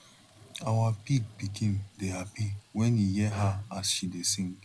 our pig pikin dey happy wen e hear her as she dey sing